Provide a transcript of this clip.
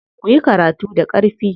Kuyi karatu da ƙarfi.